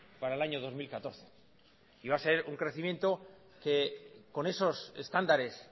para el año dos mil catorce y va a ser un crecimiento que con esos estándares